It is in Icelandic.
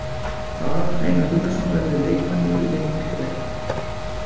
Aron Einar Gunnarsson verður í leikbanni í leiknum gegn Lettum.